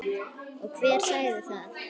Og hver sagði það?